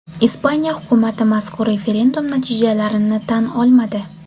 Ispaniya hukumati mazkur referendum natijalarini tan olmadi.